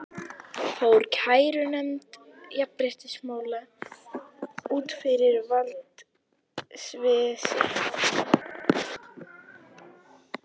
Fór kærunefnd jafnréttismála út fyrir valdsvið sitt?